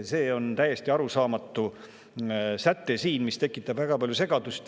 See on täiesti arusaamatu säte, mis tekitab väga palju segadust.